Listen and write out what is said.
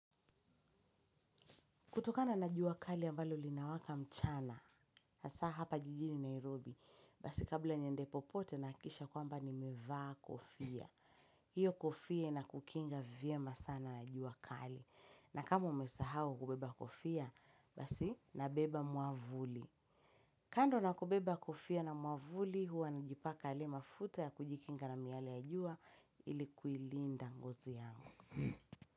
Kutokana na jua kali ambalo linawaka mchana, hasaa hapa jijini Nairobi, basi kabla ya niende popote nahakikisha kwamba nimevaa kofia. Hiyo kofia inakukinga vyema sana na jua kali. Na kama umesahau kubeba kofia, basi nabeba mwavuli. Kando na kubeba kofia na mwavuli, huwa najipaka yale mafuta ya kujikinga na miale ya jua ili kuilinda ngozi yangu.